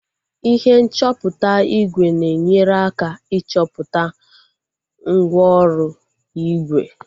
ihe nchọpụta ígwè na-enyere aka ịchọpụta mgwooru ígwè